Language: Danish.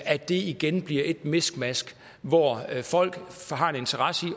at det igen bliver et miskmask hvor folk har en interesse i